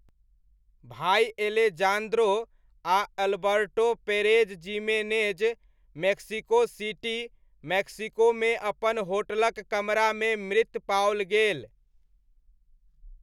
भाइ एलेजान्द्रो आ Alberto Perez Jimenez Mexico City, मैक्सिकोमे अपन होटलक कमरामे मृत पाओल गेल।